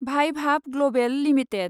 Vaibhav Global limited